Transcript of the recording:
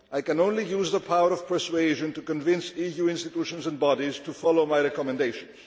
I can only use the power of persuasion to convince EU institutions and bodies to follow my recommendations.